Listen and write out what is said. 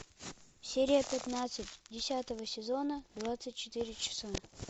серия пятнадцать десятого сезона двадцать четыре часа